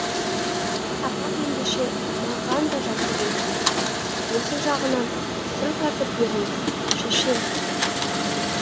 сапақ ендеше маған да жақсылық етіңіз осы жағынан сыр тартып беріңіз шеше